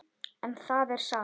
En það er satt.